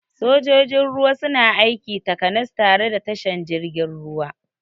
Sojojin ruwa suna aiki takanas tare da tashan jirgin ruwa